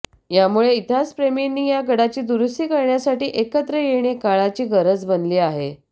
यामुळे इतिहासप्रेमींनी या गडाची दुरुस्ती करण्यासाठी एकत्र येणे काळाची गरज बनली आहे